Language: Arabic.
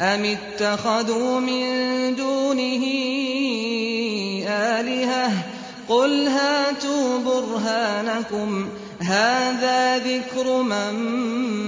أَمِ اتَّخَذُوا مِن دُونِهِ آلِهَةً ۖ قُلْ هَاتُوا بُرْهَانَكُمْ ۖ هَٰذَا ذِكْرُ مَن